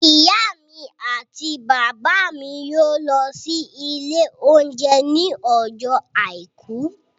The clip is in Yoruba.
Ìyá mi àti bàbá mi yóò lọ sí ilé oúnjẹ ní ọjọ́ àìkú